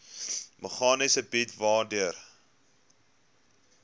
meganisme bied waardeur